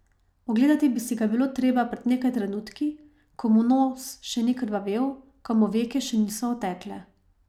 Ogledati bi si ga bilo treba pred nekaj trenutki, ko mu nos še ni krvavel, ko mu veke še niso otekle.